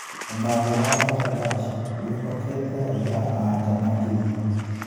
ũmatho wa Mbagandash wĩhokete raiya a-nja makĩria.